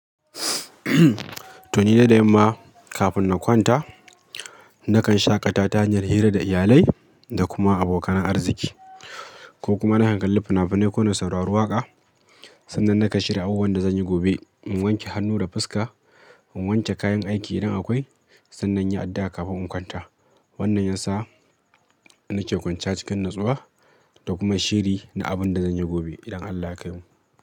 To ni dai da yamma kafin na kwanta, nakan shaƙata ta hanyar hira da iyalai da kuma abokan arziki, ko kuma na kalli fina-finai ko na saurari waƙa. Sannan nakan shirya abubuwan da zan yi gobe, in wanke hannu da fuska, in wanke kayan ɗaiki idan akoi, sannan yi addu'a kafin in kwanta. Wannan yansa nake kwanciya cikin natsuwa da kuma shiri na abin da zan yi gobe idan Allah ya kaimu.